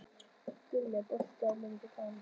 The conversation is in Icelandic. Guðni, er bolti á miðvikudaginn?